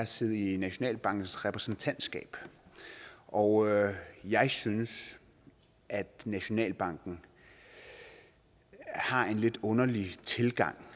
sidde i nationalbankens repræsentantskab og jeg synes at nationalbanken har en lidt underlig tilgang